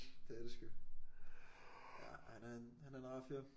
Det er det sgu. Ja han er en han er en rar fyr